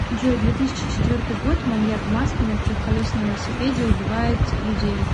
джой две тысячи четвертый год маньяк в маске на трехколесном велосипеде убивает людей